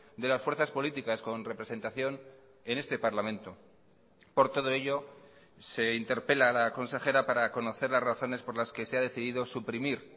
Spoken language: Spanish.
de las fuerzas políticas con representación en este parlamento por todo ello se interpela la consejera para conocer las razones por las que se ha decidido suprimir